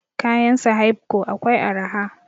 Kayan sahaibco akwai araha